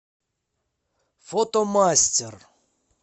фотомастер